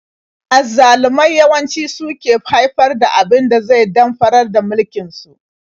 Azzalumai yawanci su suke haifar da abin da zai damfarar da mulkin su.